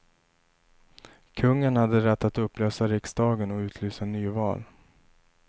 Kungen hade rätt att upplösa riksdagen och utlysa nyval.